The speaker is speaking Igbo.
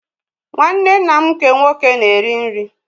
Nwanne nna m nke nwoke na-eri nri.